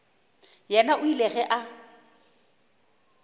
yena o ile ge a